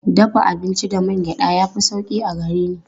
Dafa abinci da man gyaɗa ya fi sauƙi a gare ni.